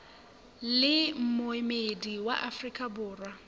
le moemedi wa afrika borwa